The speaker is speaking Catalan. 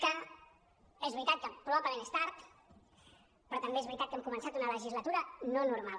que és veritat que pro·bablement és tard però també és veritat que també hem començat una legislatura no normal